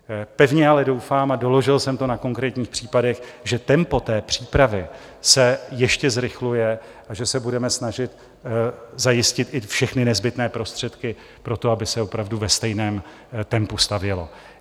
Pevně ale doufám, a doložil jsem to na konkrétních případech, že tempo té přípravy se ještě zrychluje a že se budeme snažit zajistit i všechny nezbytné prostředky pro to, aby se opravdu ve stejném tempu stavělo.